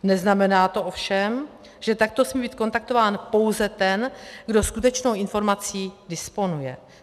Neznamená to ovšem, že takto smí být kontaktován pouze ten, kdo skutečnou informací disponuje.